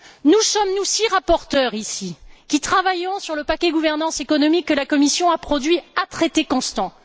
Nous sommes six rapporteurs ici, qui travaillons sur le paquet gouvernance économique que la Commission a produit à traités constants.